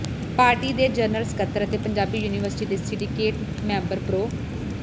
party ਦੇ general ਸਕੱਤਰ ਅਤੇ ਪੰਜਾਬੀ ਯੂਨੀਵਰਸਿਟੀ ਦੇ ਸਿੰਡੀਕੇਟ ਮੈਂਬਰ ਪ੍ਰੋ